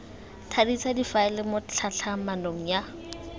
thadisa difaele mo tlhatlhamanong ya